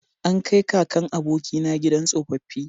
An kai kakan abokina gidan tsofaffi